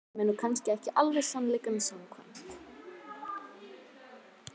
Sem er nú kannski ekki alveg sannleikanum samkvæmt.